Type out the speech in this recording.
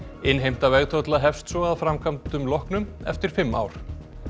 innheimta vegtolla hefst svo að framkvæmdum loknum eftir fimm ár